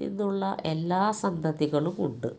നിന്നുള്ള എല്ലാ സന്തതികളും ഉണ്ട്